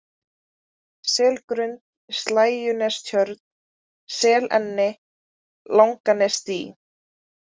Selgrund, Slægjunestjörn, Selenni, Langanesdý